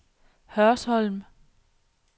Hørsholm